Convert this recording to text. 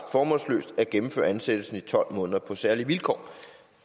formålsløst at gennemføre ansættelsen i tolv måneder på særlige vilkår